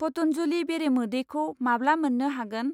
पतन्जलि बेरेमोदैखौ माब्ला मोन्नो हागोन?